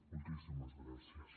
moltíssimes gràcies